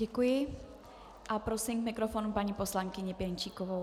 Děkuji a prosím k mikrofonu paní poslankyni Pěnčíkovou.